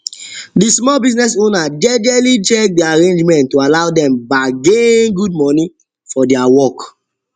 the small business owner jejely check the agreement to allow dem bargain good money for dia work